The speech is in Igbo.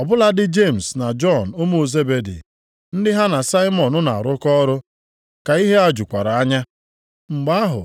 Ọ bụladị Jemis na Jọn ụmụ Zebedi, ndị ha na Saimọn na-arụkọ ọrụ, ka ihe a jukwara anya. Mgbe ahụ